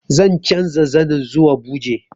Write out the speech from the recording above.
Zan canza zanin zuwa buje